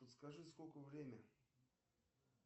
подскажи сколько время